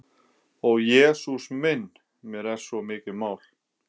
Ó Jesús minn, mér er svo mikið mál.